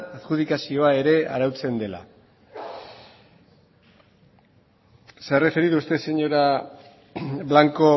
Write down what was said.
adjudikazioa ere arautzen dela se ha referido usted señora blanco